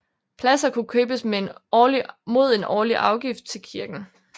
Pladser kunne købes mod en årlig afgift til kirken